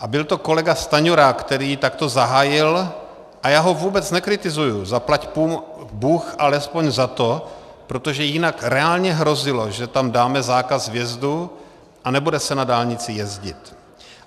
A byl to kolega Stanjura, který takto zahájil - a já ho vůbec nekritizuji, zaplať bůh alespoň za to, protože jinak reálně hrozilo, že tam dáme zákaz vjezdu a nebude se na dálnici jezdit.